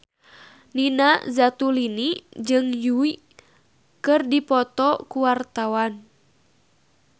Nina Zatulini jeung Yui keur dipoto ku wartawan